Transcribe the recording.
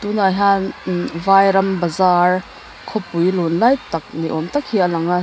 tunah hian vairam bazar khawpui lun lai tak ni awm tak hi a lang a--